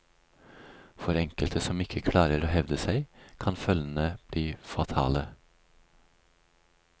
For enkelte som ikke klarer å hevde seg, kan følgene bli fatale.